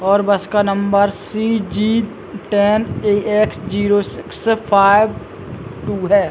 और बस का number C G ten A X zero six five two है।